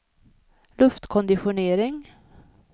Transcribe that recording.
luftkonditionering